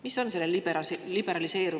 Mis on selle liberaliseerimise taga?